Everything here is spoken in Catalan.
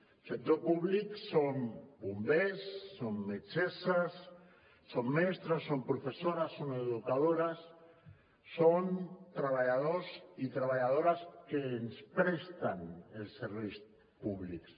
el sector públic són bombers són metgesses són mestres són professores són educadores són treballadors i treballadores que ens presten els serveis públics